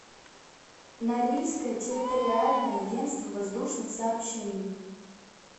норильское территориальное агентство воздушных сообщений